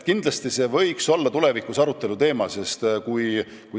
Kindlasti võiks see olla tulevikus aruteluteema.